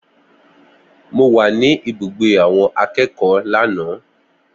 Mo wà ní ibùgbé àwọn akẹ́kọ̀ọ́ lánàá